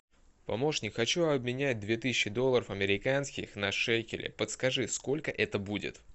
помощник хочу обменять две тысячи долларов американских на шекели подскажи сколько это будет